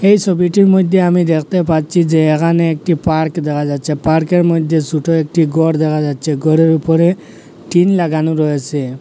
এই ছবিটির মইধ্যে আমি দেখতে পাচ্ছি যে এখানে একটি পার্ক দেখা যাচ্ছে পার্কের মধ্যে ছুটো একটি ঘর দেখা যাচ্ছে ঘরের উপরে টিন লাগানো রয়েসে।